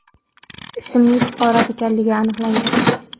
ismli fuqaro ekanligi aniqlangan.